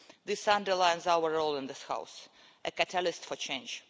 This underlines our role in this House as a catalyst for change.